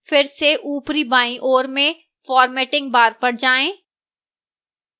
फिर से ऊपरी बाईं ओर में formatting bar पर जाएं